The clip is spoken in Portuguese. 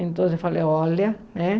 Então eu falei, olha, né?